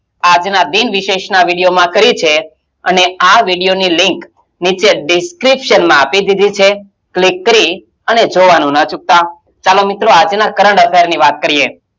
આજના દિન વિશેષનાં video માં કહ્યું છે અને આ video ની link નીચે description આપી દીધી છે click કરી અને જોવાનું નાં ચુકતા. ચાલો, મિત્રો આજનાં current affair ની વાત કરીયે.